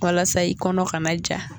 Walasa i kɔnɔ kana ja.